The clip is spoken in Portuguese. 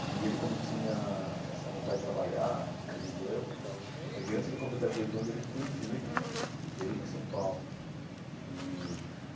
E ele como tinha essa vontade de trabalhar, acredito eu, ele antes de completar dezoito anos ele fugiu de casa, veio para São Paulo e.